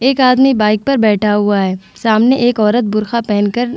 एक आदमी बाइक पर बैठा हुआ है सामने एक औरत बुरखा पेहेन कर --